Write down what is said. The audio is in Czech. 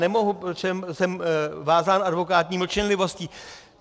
Nemohu, protože jsem vázán advokátní mlčenlivostí.